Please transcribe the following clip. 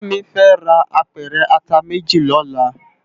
Kemi fè rá ápèrè àtá méjí lòlá